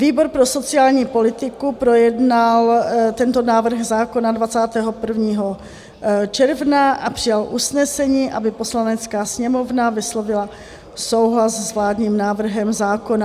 Výbor pro sociální politiku projednal tento návrh zákona 21. června a přijal usnesení, aby Poslanecká sněmovna vyslovila souhlas s vládním návrhem zákona.